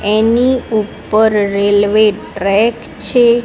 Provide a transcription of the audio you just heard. એની ઉપર railway track છે.